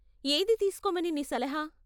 ఏది తీస్కోమని నీ సలహా?